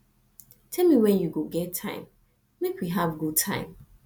tell me when you go get time make we have good time